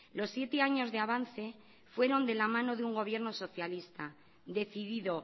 los siete años de avance fueron de la mano de un gobierno socialista decidido